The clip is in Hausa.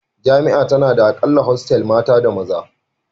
Jami'a tana da a kalla hostel mata da na maza